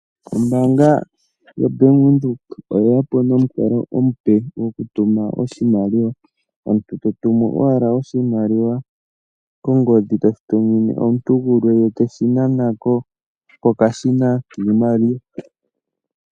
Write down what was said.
Ombaamga yaBank Windhoek oye ya po nomukalo omupe gokutuma oshimaliwa omuntu to tumu owala oshimaliwa kongodhi toshi tu mine omuntu gumwe ye teshi nana ko pokashina kiimaliwa.